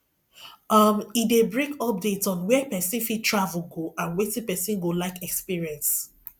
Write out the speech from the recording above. um e de bring updates on where persin fit travel go and wetin persin go like experience